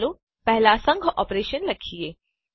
ચાલો પહેલા સંઘ ઓપરેશન લખીએ